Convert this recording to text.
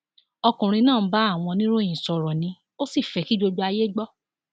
ọkùnrin náà ń bá àwọn oníròyìn sọrọ ni ò sì fẹ kí gbogbo ayé gbọ